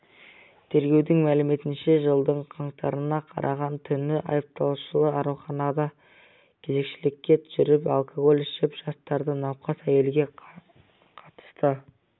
тергеудің мәліметінше жылдың қаңтарына қараған түні айыпталушы ауруханада кезекшілікте жүріп алкоголь ішіп жастағы науқас әйелге қатысты